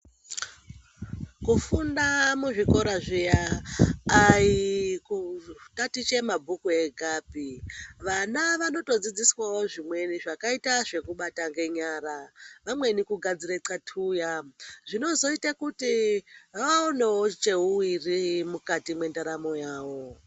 Kufunda muzvikora zviya aikutatiche mabhuku kwegapi vana vanotodzidziswawo zvimweni Zvakaita zvekubata ngenyara vamweni kugadzire kathuya zvinozoite kuti vaonewo cheuwiri mukati mwendaramo yawo.